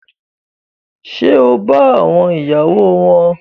Ṣe o ba àwọn ìyàwó wọn?